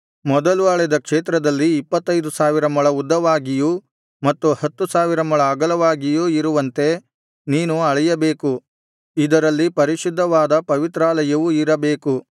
ಮೊದಲು ಅಳೆದ ಕ್ಷೇತ್ರದಲ್ಲಿ ಇಪ್ಪತ್ತೈದು ಸಾವಿರ ಮೊಳ ಉದ್ದವಾಗಿಯೂ ಮತ್ತು ಹತ್ತು ಸಾವಿರ ಮೊಳ ಅಗಲವಾಗಿಯೂ ಇರುವಂತೆ ನೀನು ಅಳೆಯಬೇಕು ಇದರಲ್ಲಿ ಪರಿಶುದ್ಧವಾದ ಪವಿತ್ರಾಯಲವು ಇರಬೇಕು